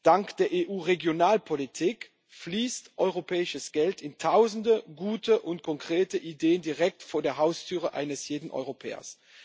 Dank der EU Regionalpolitik fließt europäisches Geld in Tausende gute und konkrete Ideen direkt vor der Haustür eines jeden Europäers.